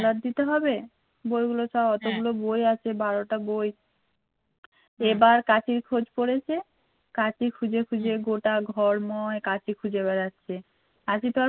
কাঁচি খুঁজে খুঁজে গোটা ঘরময় কাঁচি খুঁজে বেড়াচ্ছে কাঁচি তো আর